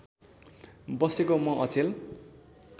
बसेको म अचेल